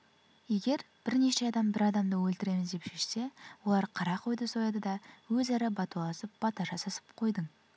егер бірнеше адам бір адамды өлтіреміз деп шешсе олар қара қойды сояды да өзара бәтуаласып бата жасасып қойдың